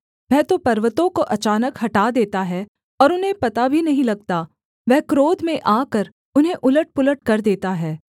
वह तो पर्वतों को अचानक हटा देता है और उन्हें पता भी नहीं लगता वह क्रोध में आकर उन्हें उलटपुलट कर देता है